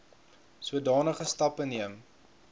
sodanige stappe neem